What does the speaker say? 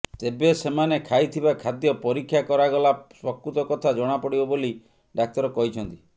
ତେବେ ସେମାନେ ଖାଇଥିବା ଖାଦ୍ୟ ପରୀକ୍ଷା କରାଗଲା ପ୍ରକୃତ କଥା ଜଣାପଡ଼ିବ ବୋଲି ଡାକ୍ତର କହିଛନ୍ତି